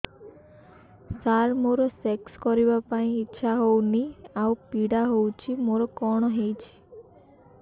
ସାର ମୋର ସେକ୍ସ କରିବା ପାଇଁ ଇଚ୍ଛା ହଉନି ଆଉ ପୀଡା ହଉଚି ମୋର କଣ ହେଇଛି